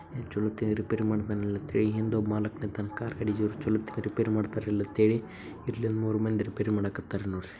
ಇಲ್ಲಿ ಚೋಲೇತಾಗಿ ರಿಪೇರಿ ಮಾಡ್ತಾನ್ ಅಂತ ಹೇಳಿ ಹಿಂದ್ ಒಬ್ಬವ್ ಮಲಕ್ ನಿಂತಾನ್ ಚೋಲೇತಾಗಿ ರಿಪೇರಿ ಮಾಡ್ತಾರ ಅಂತ ಹೇಳಿ ಇಲ್ಲಿ ಮೂರ್ ಮಂದಿ ರಿಪೇರಿ ಮಡಗತ್ತಾರ್ ನೋಡ್ರಿ.